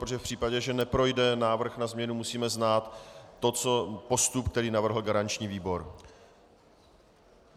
Protože v případě, že neprojde návrh na změnu, musíme znát postup, který navrhl garanční výbor.